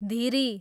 धिरी